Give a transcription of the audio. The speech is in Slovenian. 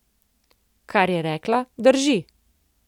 Kar je rekla, drži.